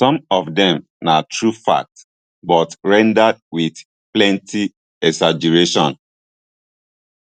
some of dem na true facts but rendered wit plenti exaggeration